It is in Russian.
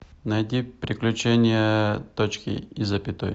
найди приключения точки и запятой